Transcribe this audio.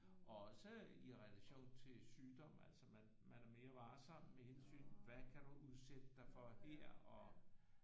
Og også i relation til sygdom altså man man er mere varsom med hensyn hvad kan du udsætte dig for her og